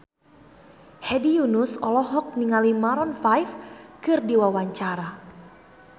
Hedi Yunus olohok ningali Maroon 5 keur diwawancara